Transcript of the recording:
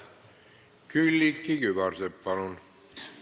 Külliki Kübarsepp, palun!